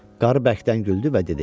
Qarı bərkdən güldü və dedi.